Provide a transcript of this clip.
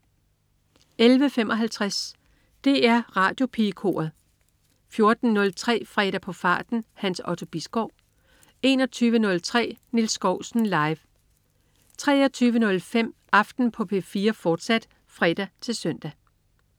11.55 DR Radiopigekoret 14.03 Fredag på farten. Hans Otto Bisgaard 21.03 Nils Skousen. Live 23.05 Aften på P4, fortsat (fre-søn)